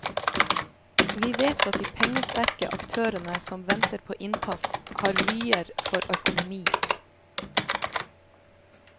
Vi vet at de pengesterke aktørene som venter på innpass, har vyer for økonomi.